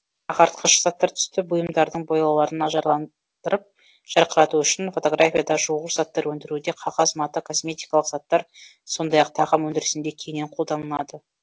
ағартқыш заттар түсті бұйымдардың бояуларын ажарландырып жарқырату үшін фотографияда жуғыш заттар өндіруде қағаз мата косметикалық заттар сондай ақ тағам өндірісінде кеңінен қолданылады